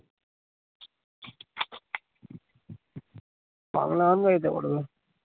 বাংলা গান গাইতে পারবে